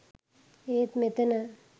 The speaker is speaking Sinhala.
ඒත් මෙතන